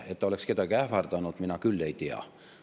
Et ta oleks kedagi ähvardanud, mina küll ei tea.